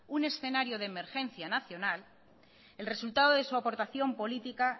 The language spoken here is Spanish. un escenario de emergencia nacional el resultado de su aportación política